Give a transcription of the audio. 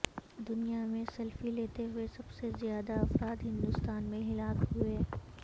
دنیا میں سیلفی لیتے ہوئے سب سے زیادہ افراد ہندوستان میں ہلاک ہوئے